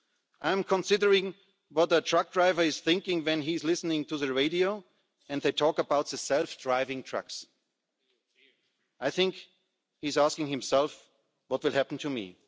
I wonder what a truck driver is thinking when he listens to the radio and they talk about self driving trucks. I think he is asking himself, what will happen